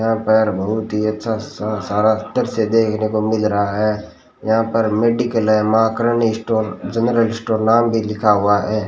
यहां पर बहुत ही अच्छा सा देखने को मिल रहा है यहां पर मेडिकल है Maa Karni store general store नाम भी लिखा हुआ है।